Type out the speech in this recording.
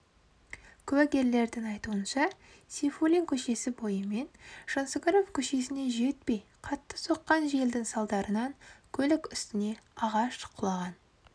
куәгерлердің айтуынша сейфуллин көшесі бойымен жансүгіров көшесіне жетпей қатты соққан желдің салдарынан көлік үстіне ағаш құлаған